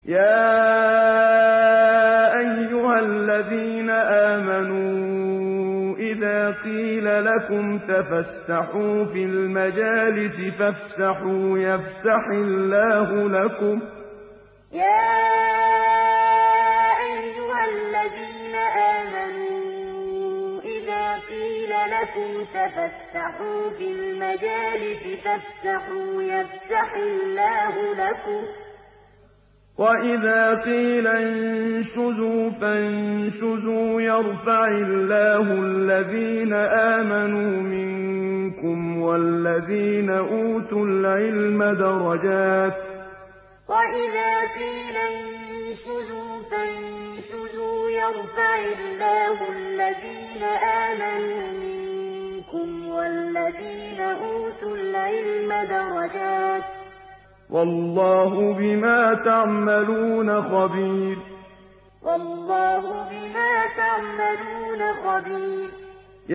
يَا أَيُّهَا الَّذِينَ آمَنُوا إِذَا قِيلَ لَكُمْ تَفَسَّحُوا فِي الْمَجَالِسِ فَافْسَحُوا يَفْسَحِ اللَّهُ لَكُمْ ۖ وَإِذَا قِيلَ انشُزُوا فَانشُزُوا يَرْفَعِ اللَّهُ الَّذِينَ آمَنُوا مِنكُمْ وَالَّذِينَ أُوتُوا الْعِلْمَ دَرَجَاتٍ ۚ وَاللَّهُ بِمَا تَعْمَلُونَ خَبِيرٌ يَا أَيُّهَا الَّذِينَ آمَنُوا إِذَا قِيلَ لَكُمْ تَفَسَّحُوا فِي الْمَجَالِسِ فَافْسَحُوا يَفْسَحِ اللَّهُ لَكُمْ ۖ وَإِذَا قِيلَ انشُزُوا فَانشُزُوا يَرْفَعِ اللَّهُ الَّذِينَ آمَنُوا مِنكُمْ وَالَّذِينَ أُوتُوا الْعِلْمَ دَرَجَاتٍ ۚ وَاللَّهُ بِمَا تَعْمَلُونَ خَبِيرٌ